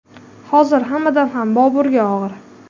Hozir hammadan ham Boburga og‘ir.